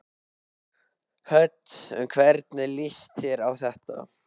Hödd: Hvernig líst þér á þetta?